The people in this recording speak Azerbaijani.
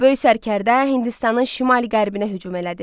Böyük sərkərdə Hindistanın şimal-qərbinə hücum elədi.